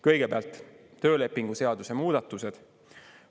Kõigepealt töölepingu seaduse muudatused.